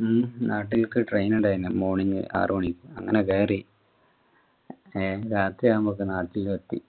ഹും നാട്ടിലേക്ക് train ഉണ്ടായിരുന്നു morning ആറു മണി കേറി രാത്രിയാവുമ്പോൾ നാട്ടിലും എത്തി